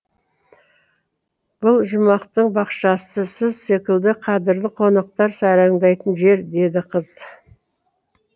бұл жұмақтың бақшасы сіз секілді қадірлі қонақтар сайраңдайтын жер деді қыз